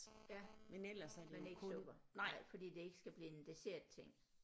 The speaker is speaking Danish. Ja men ikke sukker fordi det ikke skal blive en dessertting